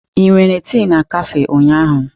Ị nwere tii na kafé ụnyaahụ?